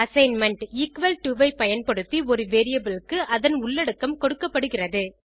assignment equal to ஐ பயன்படுத்தி ஒரு வேரியபிள் க்கு அதன் உள்ளடக்கம் கொடுக்கப்படுகிறது